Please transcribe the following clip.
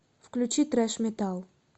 включи трэш метал